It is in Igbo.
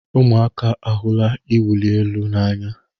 Ụmụaka ahụla iwụli elu n'anya.